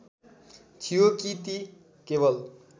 थियो कि ती केवल